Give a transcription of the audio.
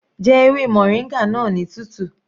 Jẹ ewé moringa náà ní tútù.